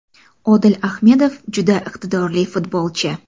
Odil Ahmedov juda iqtidorli futbolchi.